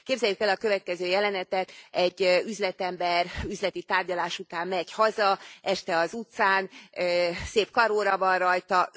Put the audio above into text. Képzeljük el a következő jelenetet egy üzletember üzleti tárgyalás után megy haza este az utcán, szép karóra van rajta.